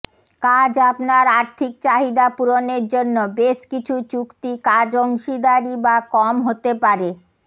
কাজ আপনার আর্থিক চাহিদা পূরণের জন্য বেশ কিছু চুক্তি কাজ অংশীদারি বা কম হতে পারে